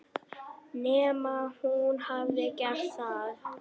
Nema hún hafi gert það.